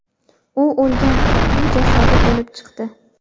U o‘lgan kitning jasadi bo‘lib chiqdi.